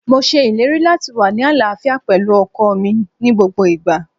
Mo ṣèlérí láti wá ní àlàáfíà pẹ̀lú ọkọọ̀ mi ní gbogbo ìgbà.